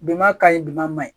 Biman ka ɲi bimaɲin